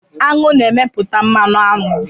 Aṅụ na-emepụta mmanụ aṅụ